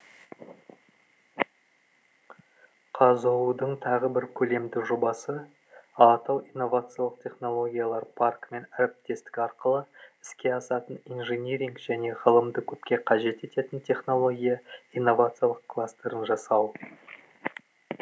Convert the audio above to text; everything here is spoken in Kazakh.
қазұу дың тағы бір көлемді жобасы алатау инновациялық технологиялар паркімен әріптестік арқылы іске асатын инжиниринг және ғылымды көп қажет ететін технология инновациялық кластерін жасау